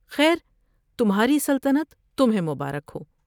خیر تمھاری سلطنت تمھیں مبارک ہو ۔